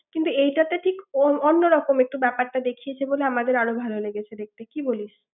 কিন্তু এইটাতে ঠিক অন্য রকম একটু ব্যাপারটা দেখিয়েছে বলে আমাদের আরো ভালো লেগেছে দেখতে কি বলিস ৷